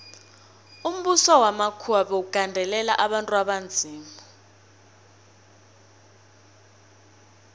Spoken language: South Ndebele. umbuso wamakhuwa bewugandelela abantu abanzima